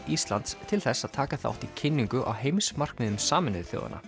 Íslands til þess að taka þátt í kynningu á heimsmarkmiðum Sameinuðu þjóðanna